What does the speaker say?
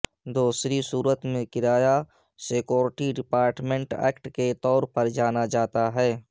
دوسری صورت میں کرایہ سیکورٹی ڈیپارٹمنٹ ایکٹ کے طور پر جانا جاتا ہے